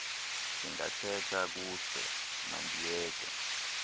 singathetha kuse mandiyeke